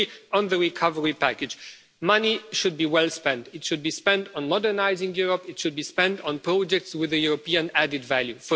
On the recovery package, money should be well spent. Firstly, it should be spent on modernising Europe, it should be spent on projects with European added value.